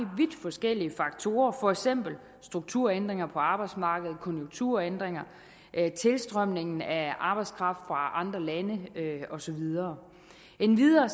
vidt forskellige faktorer for eksempel strukturændringer på arbejdsmarkedet konjunkturændringer tilstrømningen af arbejdskraft fra andre lande og så videre endvidere